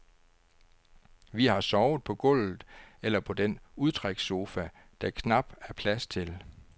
Vi har sovet på gulvet eller på den udtrækssofa, der knap er plads til.